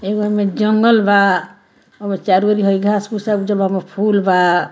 एगो में जंगल बा और चारी अउरी हई घास-फुश सब जमल बा फूल बा।